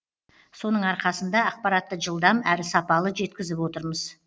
соның арқасында ақпаратты жылдам әрі сапалы жеткізіп отырмыз